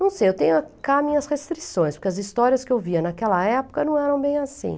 Não sei, eu tenho cá minhas restrições, porque as histórias que eu via naquela época não eram bem assim.